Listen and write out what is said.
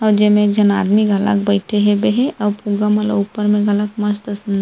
जे में एक झी आदमी घलोक बइठे हे बही आऊ पूरा ओ मन ला ऊपर मन ल अलग मस्त सजाए--